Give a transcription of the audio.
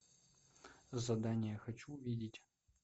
задание хочу увидеть